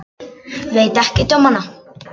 Veit ekkert um hana.